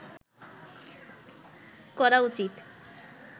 করা উচিৎ